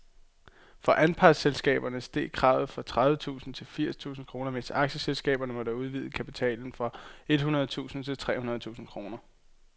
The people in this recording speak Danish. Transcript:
For anpartsselskaberne steg kravet fra tredive tusind til firs tusind kroner, mens aktieselskaberne måtte udvide kapitalen fra et hundrede tusind til tre hundrede tusind kroner.